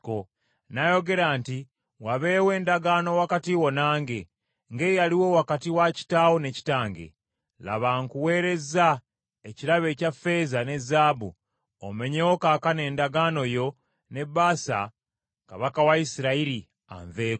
N’ayogera nti, “Wabeewo endagaano wakati wo nange, ng’eyaliwo wakati wa kitaawo ne kitange. Laba nkuweereza ekirabo ekya ffeeza ne zaabu, omenyewo kaakano endagaano yo ne Baasa kabaka wa Isirayiri, anveeko.”